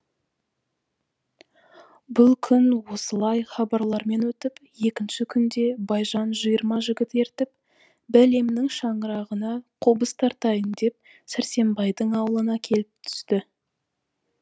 бұл күн осылай хабарлармен өтіп екінші күнде байжан жиырма жігіт ертіп бәлемнің шаңырағына қобыз тартайын деп сәрсенбайдың аулына келіп түсті